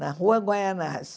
na Rua Guaianazes.